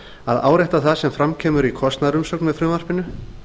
að árétta það sem fram kemur í kostnaðarumsögn með frumvarpinu